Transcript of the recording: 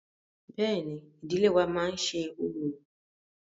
Bẹ́ẹ̀ni, ìdílé wa má ń ṣe orò.